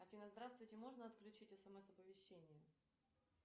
афина здравствуйте можно отключить смс оповещение